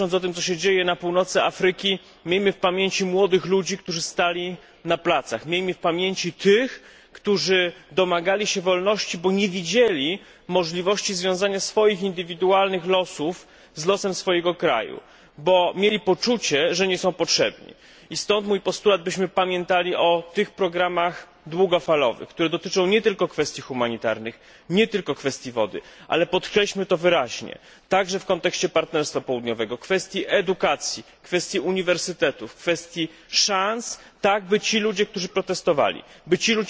Myśląc o tym, co się dzieje na północy Afryki, miejmy w pamięci młodych ludzi, którzy stali na placach i tych, którzy domagali się wolności, bo nie widzieli możliwości związania swoich indywidualnych losów z losem swojego kraju, bo mieli poczucie, że nie są potrzebni. Stąd mój postulat, byśmy pamiętali o tych programach długofalowych, które dotyczą nie tylko kwestii humanitarnych, nie tylko kwestii wody. Podkreślmy to wyraźnie, także w kontekście partnerstwa południowego, że programy te dotyczyć muszą także kwestii edukacji i uniwersytetów, kwestii szans, tak by ci ludzie, którzy protestowali